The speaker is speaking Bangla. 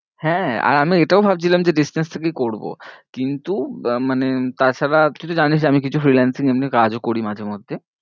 হ্যাঁ আর আমি এটাও ভাবছিলাম যে distance থেকেই করবো কিন্তু মানে তা ছাড়া তুই তো জানিস আমি কিছু freelancing এমনি কাজ ও করি মাঝে মধ্যে